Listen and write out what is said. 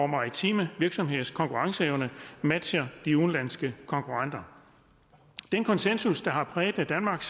maritime virksomheders konkurrenceevne matcher de udenlandske konkurrenters den konsensus der har præget danmark